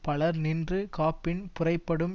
பலர் நின்று காப்பின் புரைபடும்